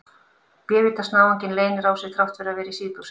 Bévítans náunginn leynir á sér þrátt fyrir að vera í síðbuxum!